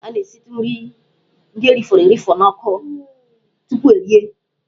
A na-esitụ nri ndị e rifọrọ erifọ n'ọkụ tupu erie.